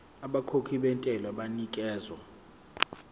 abakhokhi bentela banikezwa